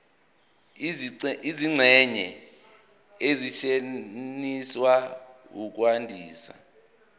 izingxenye ezisetshenziswa ukwandisa